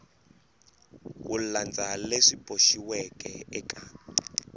ku landza leswi boxiweke eka